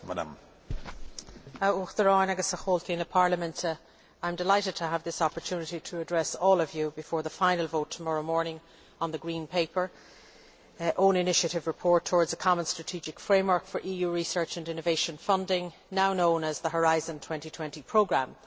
Mr President, I am delighted to have this opportunity to address all of you before the final vote tomorrow morning on the Green Paper own initiative report Towards a Common Strategic Framework for EU Research and Innovation Funding', now known as the Horizon 2020 Programme.